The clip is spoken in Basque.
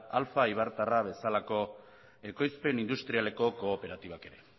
alfa eibartarra bezalako ekoizpen industrialeko kooperatibak ere